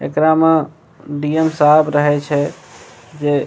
एकरा में डी.एम. साहब रहै छे जे --